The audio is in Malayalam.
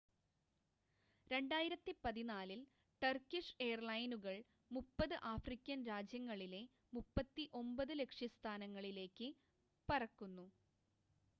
2014 ൽ ടർക്കിഷ് എയർലൈനുകൾ 30 ആഫ്രിക്കൻ രാജ്യങ്ങളിലെ 39 ലക്ഷ്യസ്ഥാനങ്ങളിൽേക്ക് പറക്കുന്നു